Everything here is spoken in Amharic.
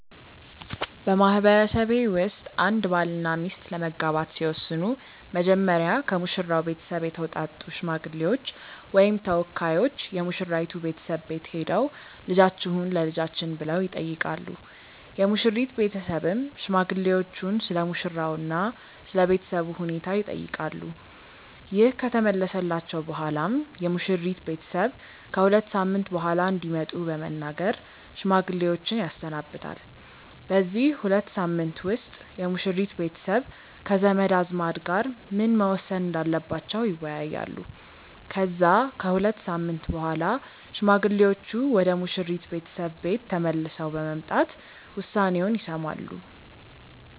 በማህበረሰቤ ውስጥ አንድ ባልና ሚስት ለመጋባት ሲወስኑ መጀመሪያ ከሙሽራው ቤተሰብ የተውጣጡ ሽማግሌዎች ወይም ተወካዮች የሙሽራይቱ ቤተሰብ ቤት ሄደው "ልጃችሁን ለልጃችን" ብለው ይጠይቃሉ። የሙሽሪት ቤተሰብም ሽማግሌዎቹን ስለሙሽራው እና ስለ ቤተሰቡ ሁኔታ ይጠይቃሉ። ይህ ከተመለሰላቸው በኋላም የሙሽሪት ቤተሰብ ከ ሁለት ሳምንት በኋላ እንዲመጡ በመናገር ሽማግሌዎችን ያሰናብታል። በዚህ ሁለት ሳምንት ውስጥ የሙሽሪት ቤተሰብ ከዘመድ አዝማድ ጋር ምን መወሰን እንዳለባቸው ይወያያሉ። ከዛ ከሁለት ሳምንት በኋላ ሽማግሌዎቹ ወደ ሙሽሪት ቤተሰብ ቤት ተመልሰው በመምጣት ውሳኔውን ይሰማሉ።